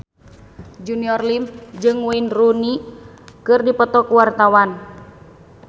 Junior Liem jeung Wayne Rooney keur dipoto ku wartawan